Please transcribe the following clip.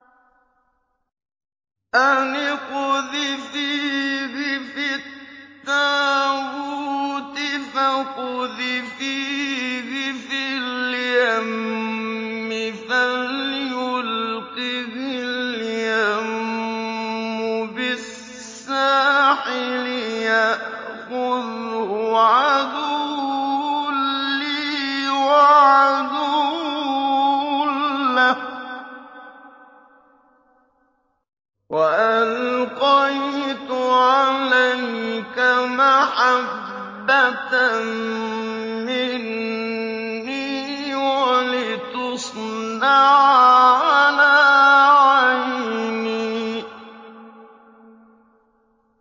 أَنِ اقْذِفِيهِ فِي التَّابُوتِ فَاقْذِفِيهِ فِي الْيَمِّ فَلْيُلْقِهِ الْيَمُّ بِالسَّاحِلِ يَأْخُذْهُ عَدُوٌّ لِّي وَعَدُوٌّ لَّهُ ۚ وَأَلْقَيْتُ عَلَيْكَ مَحَبَّةً مِّنِّي وَلِتُصْنَعَ عَلَىٰ عَيْنِي